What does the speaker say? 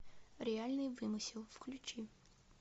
реальный вымысел включи